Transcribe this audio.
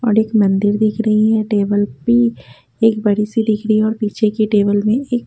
और एक मंदिर दिख रही है टेबल भी एक बड़ी सी दिख रही है और पीछे की टेबल में एक--